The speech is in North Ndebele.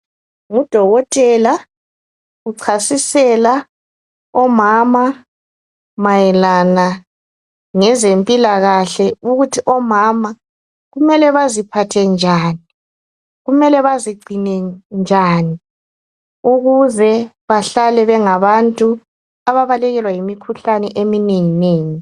Ngudokotela uchasisela omama mayelana ngezempilakahle ukuthi omama kumele baziphathe njani kumele bazigcine njani ukuze bahlale bengabantu ababalekelwa yimikhuhlane eminenginengi.